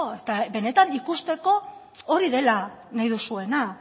eta benetan ikusteko hori dela nahi duzuena